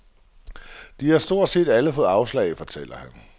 De har stort set alle fået afslag, fortæller han.